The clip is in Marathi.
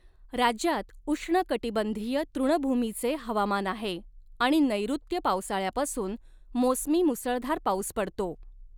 राज्यात उष्णकटिबंधीय तृणभूमीचे हवामान आहे आणि नैऋत्य पावसाळ्यापासून मोसमी मुसळधार पाऊस पडतो.